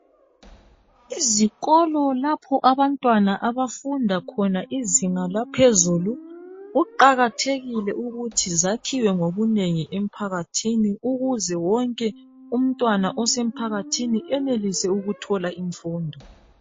Izikolo lapho abantwana abafunda khona izinga laphezulu kuqakathekile ukuthi zakhiwe ngobunengi emphakathini ukuze wonke umntwana osemphakathini enelise ukuthola imfundo.